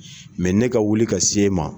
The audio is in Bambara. Mɛ ne ka wuli ka s'e ma.